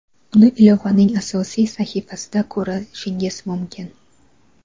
uni ilovaning asosiy sahifasida ko‘rishingiz mumkin.